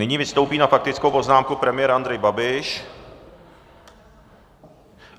Nyní vystoupí na faktickou poznámku premiér Andrej Babiš.